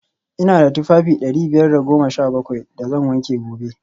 v Ina da tufafi dari biyar da goma sha bakwai da zan wanke gobe